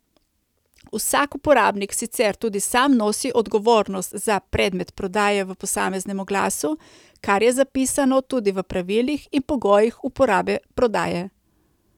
Vsak uporabnik sicer tudi sam nosi odgovornost za predmet prodaje v posameznem oglasu, kar je zapisano tudi v pravilih in pogojih uporabe prodaje.